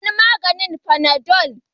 Sunan maganin fanadol.